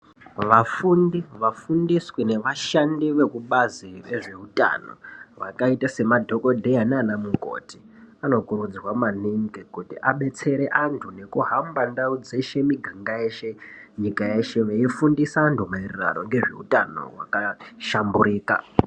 Vafundi vafundiswi nevasgandi vekubazi rezveutano vakaita semadhokodheya nanamukoti anokurudzirwa maningi kuti abetsere anthu nekuhamba ndau dzeshe miganga yeshe nyika yeshe veifundisa anthu maererano ngezveutano hwakahlamburika.